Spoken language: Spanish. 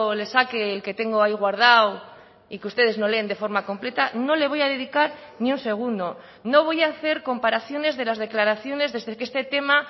le saque el que tengo ahí guardado y que ustedes no leen de forma completa no le voy a dedicar ni un segundo no voy a hacer comparaciones de las declaraciones desde que este tema